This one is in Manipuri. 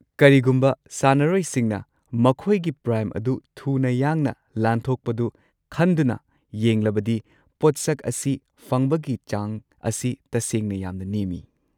ꯀꯔꯤꯒꯨꯝꯕ ꯁꯥꯟꯅꯔꯣꯏꯁꯤꯡꯅ ꯃꯈꯣꯏꯒꯤ ꯄ꯭ꯔꯥꯏꯝ ꯑꯗꯨ ꯊꯨꯅ ꯌꯥꯡꯅ ꯂꯥꯟꯊꯣꯛꯄꯗꯨ ꯈꯟꯗꯨꯅ ꯌꯦꯡꯂꯕꯗꯤ ꯄꯣꯠꯁꯛ ꯑꯁꯤ ꯐꯪꯕꯒꯤ ꯆꯥꯡ ꯑꯁꯤ ꯇꯁꯦꯡꯅ ꯌꯥꯝꯅ ꯅꯦꯝꯃꯤ꯫